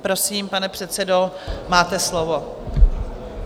Prosím, pane předsedo, máte slovo.